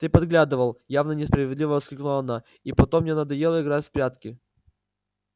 ты подглядывал явно несправедливо воскликнула она и потом мне надоело играть в прятки